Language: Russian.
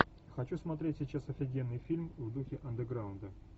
хочу смотреть сейчас офигенный фильм в духе андеграунда